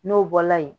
N'o bɔla yen